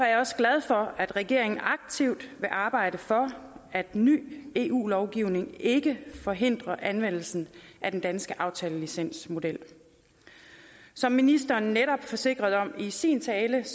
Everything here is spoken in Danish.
jeg også glad for at regeringen aktivt vil arbejde for at ny eu lovgivning ikke forhindrer anvendelsen af den danske aftalelicensmodel som ministeren netop forsikrede om i sin tale